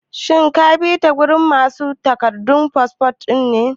shin kabi ta gurin masu duba takardun fasfo?